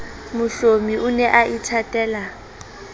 mohlomi o ne a ithatela